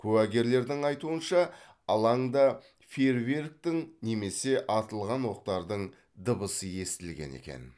куәгерлердің айтуынша алаңда фейерверктің немесе атылған оқтардың дыбысы естілген екен